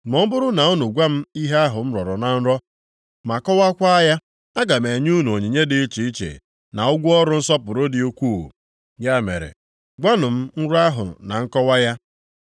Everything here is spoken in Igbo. Ma ọ bụrụ na unu gwa m ihe ahụ m rọrọ na nrọ ma kọwaakwa ya, aga m enye unu onyinye dị iche iche na ụgwọ ọrụ nsọpụrụ dị ukwuu. Ya mere, gwanụ m nrọ ahụ na nkọwa ya.”